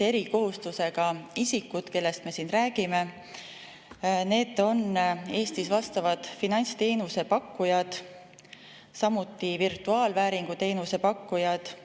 Erikohustustega isikud on Eestis vastavad finantsteenuse pakkujad, samuti virtuaalvääringu teenuse pakkujad.